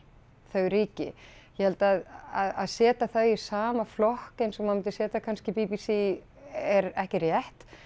þau ríki ég held að setja þau í sama flokk eins og maður myndi setja kannski b b c er ekki rétt